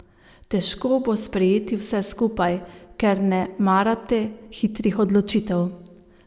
Težko bo sprejeti vse skupaj, ker ne marate hitrih odločitev.